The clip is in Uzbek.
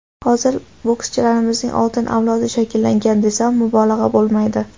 Hozir bokschilarimizning oltin avlodi shakllangan desam, mubolag‘a bo‘lmaydi.